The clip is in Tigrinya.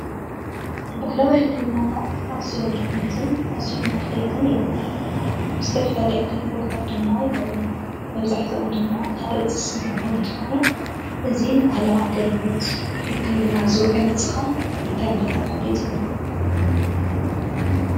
ባህላዊ ሕክምናታት ኣዝዮም ጠቀምትን ኣዝዮም ኣድለይትን እዮም። ንዝተፈላለዩ ኣገልግሎት ድማ ይውዕሉ መብዛሕቶኦም ድማ ካብ እፅ ዝስርሑ እንትኮኑ እዚ ንባህላዊ ኣገልግሎት ሕክምና ዝውዕል እዚ ከ እንታይ እንዳተባሃለ ይፅዋዕ።